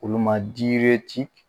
Olu ma